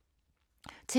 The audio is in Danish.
TV 2